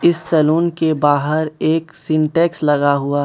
इस सैलून के बाहर एक सिंटेक्स लगा हुआ --